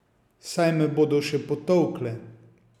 Saj me bodo še potolkle!